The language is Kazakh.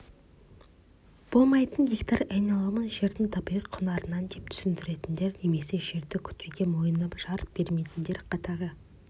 болмайтын гектар айналымын жердің табиғи құнарынан деп түсінетіндер немесе жерді күтуге мойыны жар бермейтіндер қатары